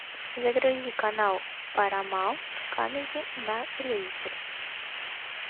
загрузи канал парамаунт камеди на телевизоре